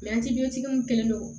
tigiw kelen do